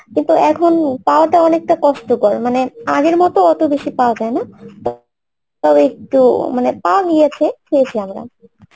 কিন্তু এখন পাওয়াটা অনেকটা কষ্টকর মানে আগের মতো অতবেশী পাওয়া যায়না তাও একটু মানে পাওয়া গিয়েছে খেয়েছি আমরা